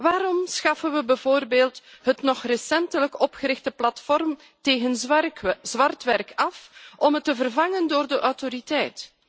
Waarom schaffen we bijvoorbeeld het nog recentelijk opgerichte platform tegen zwartwerk af om het te vervangen door de autoriteit?